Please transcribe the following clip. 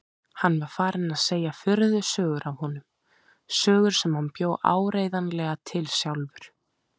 Hann var farinn að segja furðusögur af honum, sögur sem hann bjó áreiðanlega til sjálfur.